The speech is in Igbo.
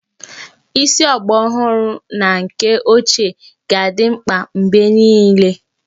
Isi ọgbaraọhụrụ na nke ochie ga-adị mkpa mgbe niile